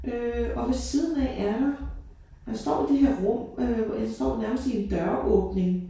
Øh og ved siden af er der han står i det her rum øh hvor ja står nærmest i en døråbning